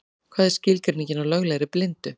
Hvað er skilgreiningin á löglegri blindu?